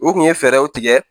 U kun ye fɛɛrɛw tigɛ